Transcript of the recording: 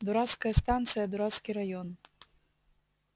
дурацкая станция дурацкий район